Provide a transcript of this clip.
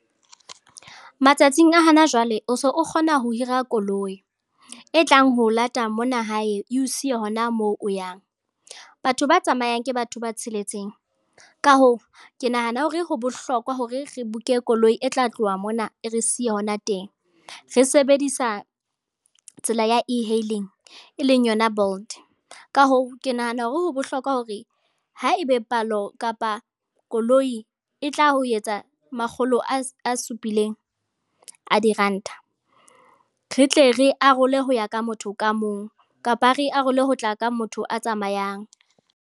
Matsatsing a hana jwale o so o kgona ho hira koloi e tlang ho lata mona hae e o siye hona moo o yang. Batho ba tsamayang ke batho ba tsheletseng, ka hoo, ke nahana hore ho bohlokwa hore re book-e koloi e tla tloha mona e re siye hona teng re sebedisa tsela ya e-hailing e leng yona Bolt. Ka hoo, ke nahana hore ho bohlokwa hore haebe palo kapa koloi e tla ho etsa makgolo a supileng a diranta, re tle re arole ho ya ka motho ka mong, kapa re arole ho tla ka motho a tsamayang.